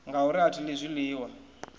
ngauri a thi ḽi zwiḽiwa